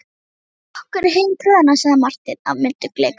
Fylgdu okkur heim tröðina, sagði Marteinn af myndugleik.